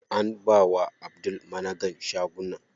An bawa Abdul managan shagunan.